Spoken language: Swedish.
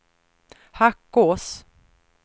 Hackås